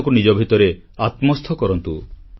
ଭାରତକୁ ନିଜ ଭିତରେ ଆତ୍ମସ୍ଥ କରନ୍ତୁ